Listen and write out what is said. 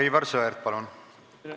Aivar Sõerd, palun!